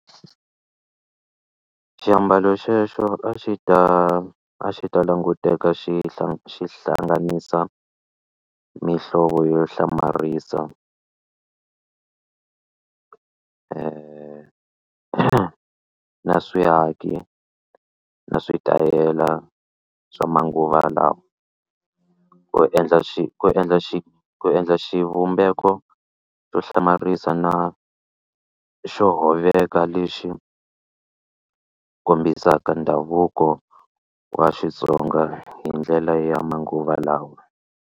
Xiambalo xexo a xi ta a xi ta languteka xi xi hlanganisa mihlovo yo hlamarisa na swiaki na switayela swa manguva lawa ku endla ku endla endla xivumbeko xo hlamarisa na xo hoveka lexi kombisaka ndhavuko wa Xitsonga hi ndlela ya manguva lawa.